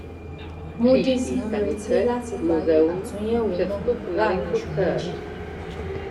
moodys ń retí láti parí àtúnyèwò náà láàárín oṣù méjì